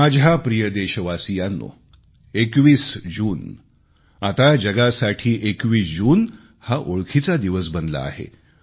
माझ्या प्रिय देशवासियांनो 21 जून आता जगासाठी 21 जून हा ओळखीचा दिवस बनला आहे